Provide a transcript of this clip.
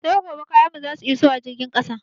Sai gobe kayan mu zasu iso a jirgin ƙasa.